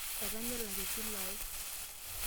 Etanya elak esile ai.